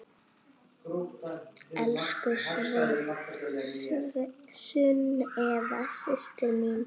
Elsku Sunneva systir mín.